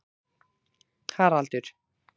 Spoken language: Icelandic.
Haraldur